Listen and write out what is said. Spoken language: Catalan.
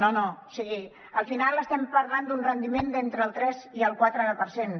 o sigui al final estem parlant d’un rendiment d’entre el tres i el quatre per cent